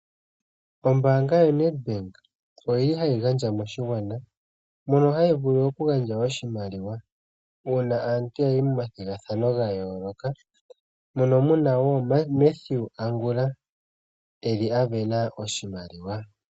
Ombanga yaNEDBANK oyili hayi gandja moshingwana mono yili hayi vulu oku gandja oshimaliwa uuna aantu yayi momathigathano gayoloka mono muna Mathew Angula eli asindana oshimaliwa.